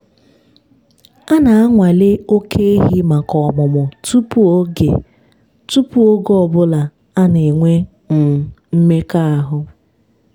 a na-anwale oke ehi maka ọmụmụ tupu oge tupu oge ọ bụla ana-enwe um mmekọahụ.